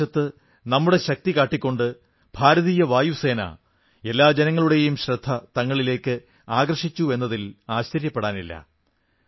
ആകാശത്ത് നമ്മുടെ ശക്തി കാട്ടിക്കൊണ്ട് ഭാരതീയ വായുസേന എല്ലാ ജനങ്ങളുടെയും ശ്രദ്ധ തങ്ങളിലേക്ക് ആകർഷിച്ചുവെന്നതിൽ ആശ്ചര്യപ്പെടാനില്ല